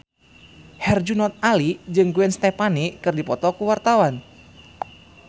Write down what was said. Herjunot Ali jeung Gwen Stefani keur dipoto ku wartawan